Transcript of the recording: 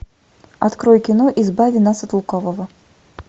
открой кино избави нас от лукавого